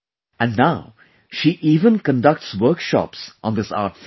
And now, she even conducts workshops on this art form